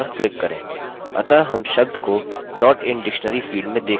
अतः हम शब्द को not in dictionary field में देख सकते हैं